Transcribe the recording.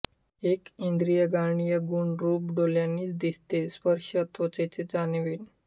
एक इंद्रिय ग्राहय गुण रुप डोलयांनीच दिसेत स्पर्श त्वचेनेच जानवेन